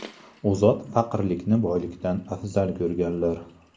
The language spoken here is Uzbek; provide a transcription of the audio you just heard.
U zot faqirlikni boylikdan afzal ko‘rganlar.